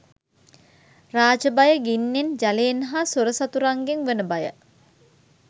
රාජ භය, ගින්නෙන් ජලයෙන් හා සොර සතුරන්ගෙන් වන භය